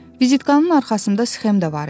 Vizitkanın arxasında sxem də var idi.